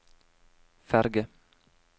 ferge